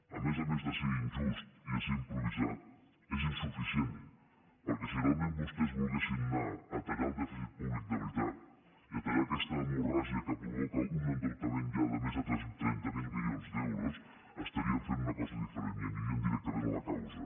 a més a més de ser injust i de ser improvisat és insuficient perquè si realment vostès volguessin anar a tallar el dèficit públic de veritat i a tallar aquesta hemorràgia que provoca un endeutament ja de més trenta miler milions d’euros estarien fent una cosa diferent i anirien directament a la causa